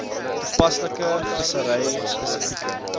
toepaslike vissery spesifieke